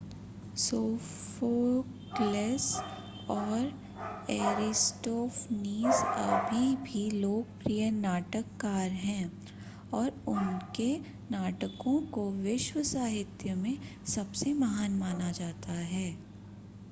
Sophocles और Aristophanes अभी भी लोकप्रिय नाटककार हैं और उनके नाटकों को विश्व साहित्य में सबसे महान माना जाता है